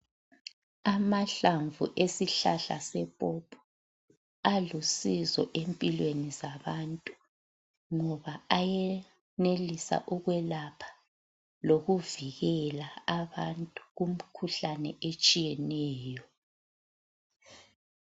Amahlamvu esihlahla sepopo alusizo empilweni zabantu ngoba ayenelisa ukwelapha lokuvikela abantu kum'khuhlane etshiyeneyo.